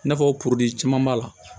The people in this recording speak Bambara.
I n'a fɔ caman b'a la